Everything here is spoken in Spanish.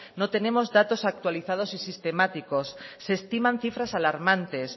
no tenemos datos actualizados y sistemáticos se estiman cifras alarmantes